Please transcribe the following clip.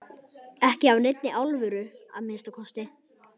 Ekki af neinni alvöru að minnsta kosti.